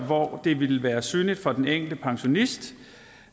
hvor det ville være synligt for den enkelte pensionist